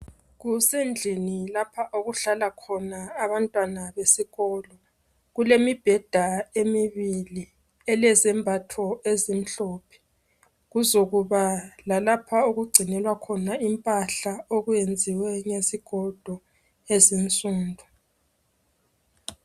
Kusendlini lapha okuhlala khona abantwana abesikolo kulemibheda emibili elezembatho ezimhlophe kuzomuba lalapha okungcinelwa khona impahla okulezigodo ezinsundu